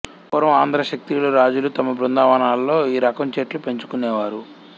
పూర్వం ఆంధ్ర క్షత్రియులు రాజులు తమ బృందావనాల్లో ఈ రకం చెట్లు పెంచుకొనేవారు